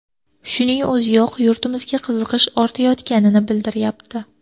Shuning o‘ziyoq yurtimizga qiziqish ortayotganini bildirayapti.